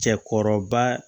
Cɛkɔrɔba